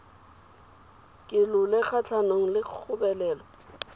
ke lole kgatlhanong le kgobelelo